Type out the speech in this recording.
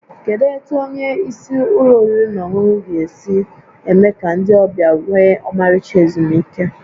Kedu etu onye isi ụlọ oriri na ọṅụṅụ gị si eme ka ndị ọbịa nwee ọmarịcha ezumike?